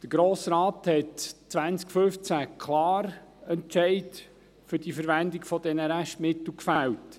Der Grosse Rat fällte 2015 klar einen Entscheid für die Verwendung dieser Restmittel.